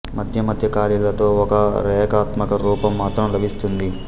మద్య మద్య ఖాళీలతో ఒక రేఖాత్మక రూపం మాత్రం లభిస్తుంది